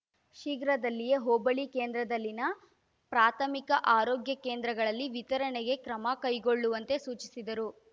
ಶೀಘ್ರದಲ್ಲಿಯೇ ಹೋಬಳಿ ಕೇಂದ್ರದಲ್ಲಿನ ಪ್ರಾಥಮಿಕ ಅರೋಗ್ಯ ಕೇಂದ್ರಗಳಲ್ಲಿ ವಿತರಣೆಗೆ ಕ್ರಮ ಕೈಗೊಳ್ಳುವಂತೆ ಸೂಚಿಸಿದರು